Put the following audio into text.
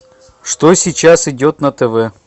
что сейчас идет на тв